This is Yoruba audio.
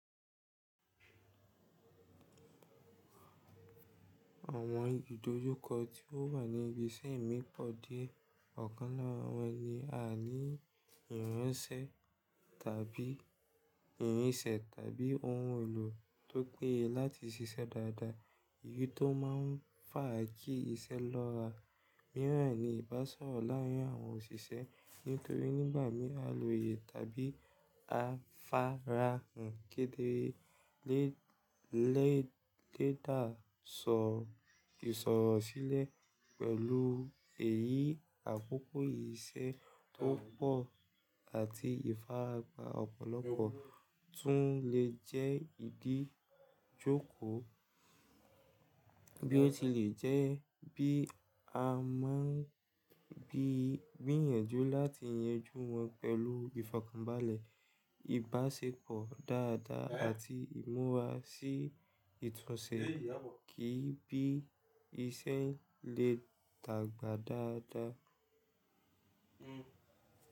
Àwọn ìdojúkọ tí ó wà ní ibi iṣẹ́ mì pọ̀ dié ọ̀kan lára wọn ni àaní ìránṣẹ́ tàbí ìrínṣẹ̀ tàbí ohun èlò tó péye láti ṣiṣẹ́ dáadáa, èyí tó máa ń fà á kí iṣẹ́ lọ́ra. Míràn ni ìbáṣọ̀rọ̀ láárin àwọn òṣìṣẹ́ nítorí nígbà mí á loye tàbí á farahàn kedere lẹ́dà sọ̀rọ̀ sílẹ̀ pẹ̀lú èyí, àkókò iṣẹ́ tó pọ̀ àti ìfarapa ọ̀pọ̀lọpọ̀ tún lè jẹ́ ìdojúkọ bí ó tilẹ̀ jẹ́ bí a máa ń gbìyànjú láti yanjú wọn pẹ̀lú ìfọ̀kànbalẹ̀, ìbáṣepọ̀ dáadáa àti ìmúra sí ìtúnṣe kí bí iṣẹ́ lè dàgbà dáadáa.